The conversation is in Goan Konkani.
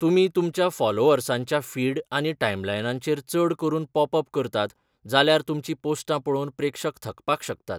तुमी तुमच्या फॉलोअर्सांच्या फीड आनी टाईमलायनांचेर चड करून पॉप अप करतात जाल्यार तुमचीं पोस्टां पळोवन प्रेक्षक थकपाक शकतात.